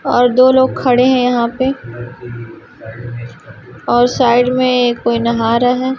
और दो लोग खड़े हैं यहां पे और साइड में कोई नहा रहा--